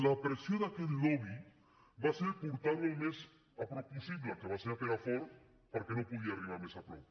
la pressió d’aquest lobby va ser portar la al més a prop possible que va ser a perafort perquè no podia arribar més a prop